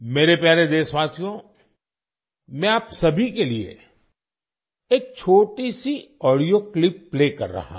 मेरे प्यारे देशवासियो मैं आप सभी के लिए एक छोटी सी ऑडियो क्लिप प्ले कर रहा हूँ